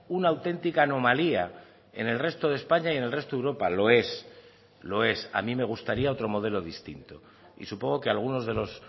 una auténtica anomalía en el resto de españa y en el resto de europa lo es lo es a mí me gustaría otro modelo distinto y supongo que a algunos de los